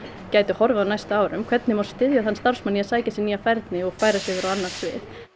gæti horfið á næstu árum hvernig má styðja þann starfsmann að sækja sér nýja færni og færa sig yfir á annað svið